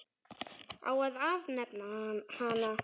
Á að afnema hana?